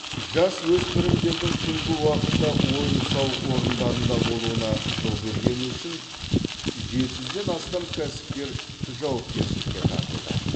жасөспірімдердің түнгі уақытта ойын сауық орындарында болуына жол бергені үшін жеті жүзден астам кәсіпкер жауапкершілікке тартылды